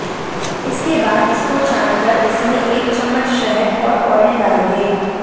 इसके बाद इसको छान कर इसमें एक चम्मच शहद और ऑयल डाल दें